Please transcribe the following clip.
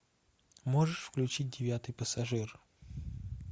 можешь включить девятый пассажир